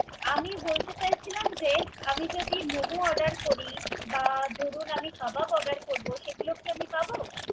আমি বলতে চাইছিলাম যে আমি যদি মোমো order করি বা দুরুন আমি কাবাব order করব সেগুলা কি আমি পাবো।